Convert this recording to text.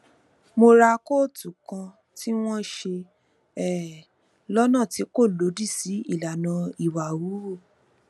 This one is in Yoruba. mo ra kóòtù kan tí wón ṣe um lónà tí kò lòdì sí ìlànà ìwà híhù